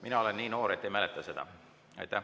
Mina olen nii noor, et ei mäleta seda.